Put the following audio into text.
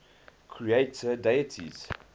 creator deities